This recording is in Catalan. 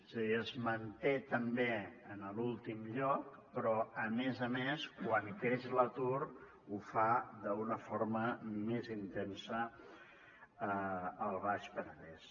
és a dir es manté també en l’últim lloc però a més a més quan creix l’atur ho fa d’una forma més intensa al baix penedès